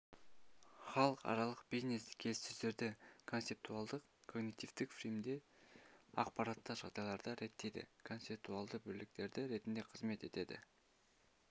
халықаралық бизнес-келіссөздерді концептуалдық-когнитивтік фреймдеуде ақпаратты жағдайларға реттейді концептуалдау бірліктері ретінде қызмет етеді